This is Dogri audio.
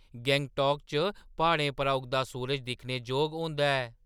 गंगटोक च प्हाड़ें पर उगदा सूरज दिक्खने जोग होंदा ऐ।